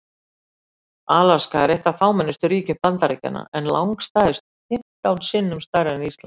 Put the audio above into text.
Alaska er eitt af fámennustu ríkjum Bandaríkjanna en langstærst, fimmtán sinnum stærra en Ísland.